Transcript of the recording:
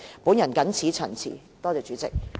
我謹此陳辭，多謝代理主席。